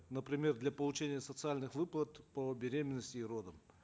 например для получения социальных выплат по беременности и родам